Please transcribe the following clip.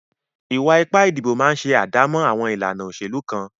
Ìwà ipá ìdìbò máa ń ṣe àdámọ́ àwọn ìlànà òṣèlú kan.